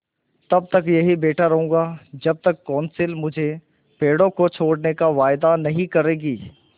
तब तक यहीं बैठा रहूँगा जब तक कौंसिल मुझे पेड़ों को छोड़ने का वायदा नहीं करेगी